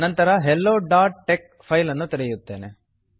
ನಂತರ hellotexಹೆಲ್ಲೊ dot tex file ಅನ್ನು ತೆರೆಯುತ್ತೇನೆ